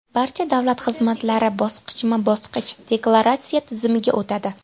Barcha davlat xizmatchilari bosqichma-bosqich deklaratsiya tizimiga o‘tadi.